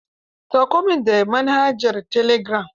Sauko min da manhajara telegiram.